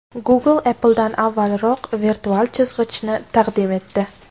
Google Apple’dan avvalroq virtual chizg‘ichni taqdim etdi.